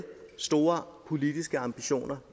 store politiske ambitioner